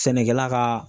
Sɛnɛkɛla ka